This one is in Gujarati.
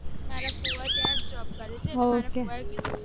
મારા ફુવા ત્યાં job કરે છે